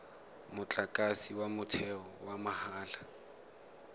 motlakase wa motheo wa mahala